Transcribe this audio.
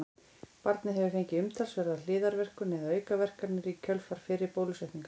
barnið hefur fengið umtalsverða hliðarverkun eða aukaverkanir í kjölfar fyrri bólusetninga